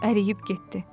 Əriyib getdi.